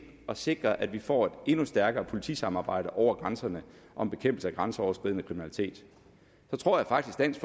at sikre at vi får et endnu stærkere politisamarbejde over grænserne om bekæmpelse af grænseoverskridende kriminalitet så tror jeg faktisk dansk